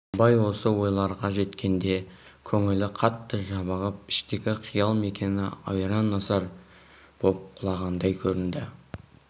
абай осы ойларға жеткенде көңлі қатты жабығып іштегі қиял мекені ойран-асыр боп құлағандай көрінді